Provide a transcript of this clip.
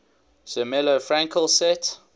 zermelo fraenkel set